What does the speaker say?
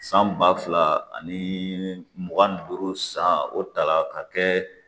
San ba fila ani mugan ni duuru san o ta la ka kɛ